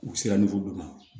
U sera dɔ ma